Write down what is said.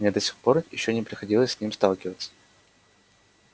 мне до сих пор ещё не приходилось с ним сталкиваться